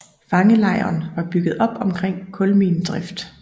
Fangelejren var bygget op omkring kulminedrift